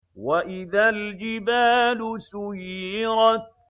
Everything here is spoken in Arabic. وَإِذَا الْجِبَالُ سُيِّرَتْ